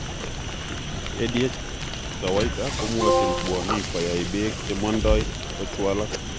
ADH kawaita komwochin bwonik koyai beek chemondo kachwalak